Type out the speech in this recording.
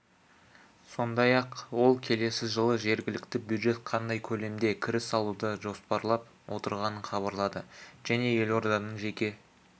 сондай-ақ ол келесі жылы жергілікті бюджет қандай көлемде кіріс алуды жоспарлап отырғанын хабарлады және елорданың жеке